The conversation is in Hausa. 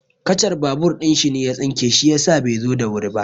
Kacar babur ɗin shi ne ya tsinke shi yasa bai zo da wuri ba.